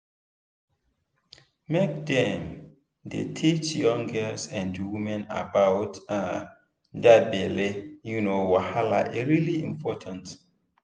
make dem dey teach young girls and women about um that belly um wahala e really important